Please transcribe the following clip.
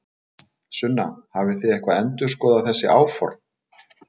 Sunna: Hafið þið eitthvað endurskoðað þessi áform?